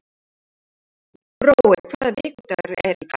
Brói, hvaða vikudagur er í dag?